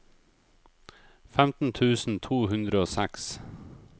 femten tusen to hundre og seks